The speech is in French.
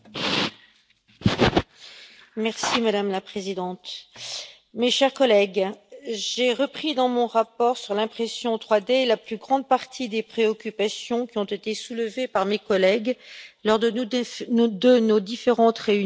Madame la Présidente, mes chers collègues, j'ai repris dans mon rapport sur l'impression 3D, la plus grande partie des préoccupations qui ont été soulevées par mes collègues lors de nos différentes réunions dans la commission des affaires juridiques.